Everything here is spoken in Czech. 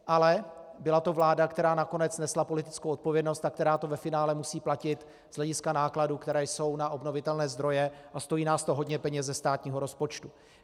Ale byla to vláda, která nakonec nesla politickou odpovědnost a která to ve finále musí platit z hlediska nákladů, které jsou na obnovitelné zdroje, a stojí nás to hodně peněz ze státního rozpočtu.